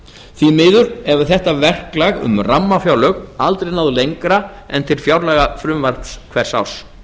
því miður hefur þetta verklag um rammafjárlög aldrei náð lengra en til fjárlagafrumvarps hvers árs